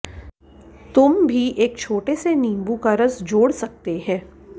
तुम भी एक छोटे से नींबू का रस जोड़ सकते हैं